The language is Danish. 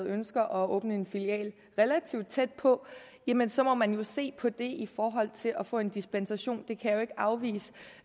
et ønske om at åbne en filial relativt tæt på jamen så må man jo se på det i forhold til at få en dispensation jeg kan jo ikke afvise